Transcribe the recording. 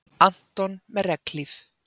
Anton með regnhlíf.